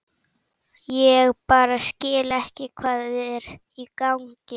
Ég bara skil ekki hvað er í gangi.